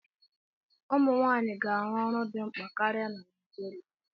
Ụmụ nwanyị ga-arụ ọrụ dị mkpa karịa na Nigeria.